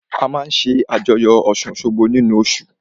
A máa ṣé àjọyọ̀ ọ̀ṣun-òṣogbo nínu oṣù